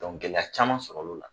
gɛlɛya caman sɔrɔl'o la